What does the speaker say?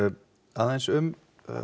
aðeins um